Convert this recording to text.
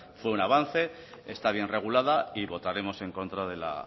fue un avance está bien regulada y votaremos en contra de la